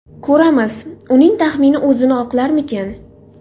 Ko‘ramiz, uning taxmini o‘zini oqlarmikan.